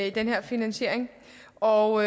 i den her finansiering og